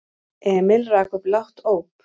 Emil rak upp lágt óp.